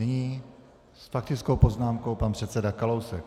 Nyní s faktickou poznámkou pan předseda Kalousek.